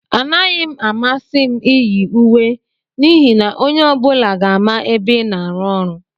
Anaghị m amasị m iyi uwe n'ihi na onye ọ bụla ga-ama ebe ị na-arụ ọrụ.